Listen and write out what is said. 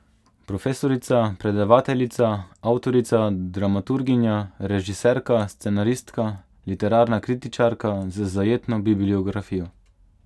Profesorica, predavateljica, avtorica, dramaturginja, režiserka, scenaristka, literarna kritičarka z zajetno bibliografijo.